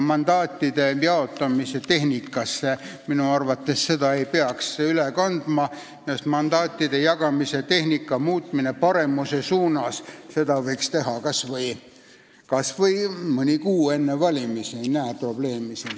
Mandaatide jaotamise tehnikasse ei peaks seda aga minu arvates üle kandma, sest mandaatide jagamise tehnilise muutmise paremuse poole võiks teha kas või mõni kuu enne valimisi, ma ei näe siin probleemi.